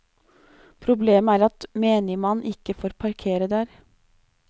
Problemet er at menigmann ikke får parkere der.